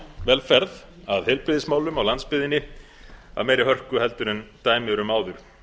velferð að heilbrigðismálum á landsbyggðinni af meiri hörku en dæmi eru um áður